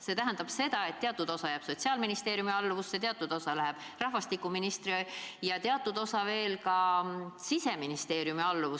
See tähendab seda, et teatud osa jääb Sotsiaalministeeriumi alluvusse, teatud osa läheb rahvastikuministri ja teatud osa Siseministeeriumi alluvusse.